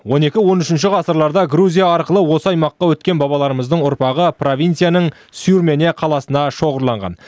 он екі он үшінші ғасырларда грузия арқылы осы аймаққа өткен бабаларымыздың ұрпағы провинцияның сюрмене қаласында шоғырланған